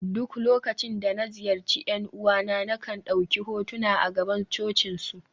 duk lokacin da na ziyarci ’yan uwana, na kan dauki hotuna a gaban cocinsu